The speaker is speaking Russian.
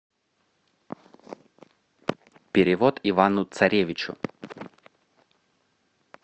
перевод ивану царевичу